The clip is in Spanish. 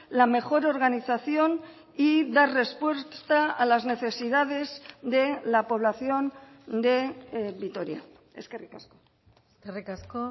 la mejor organización y dar respuesta a las necesidades de la población de vitoria eskerrik asko eskerrik asko